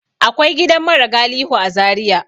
Akwai gidan mara galihu a Zaria.